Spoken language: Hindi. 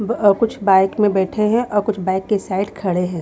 ब अ कुछ बाइक में बैठे हैं अ कुछ बाइक के साइड खड़े हैं।